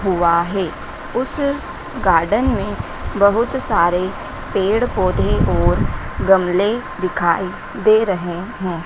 हुआ है उस गार्डन में बहुत सारे पेड़ पौधे और गमले दिखाई दे रहे हैं।